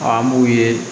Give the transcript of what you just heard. An b'u ye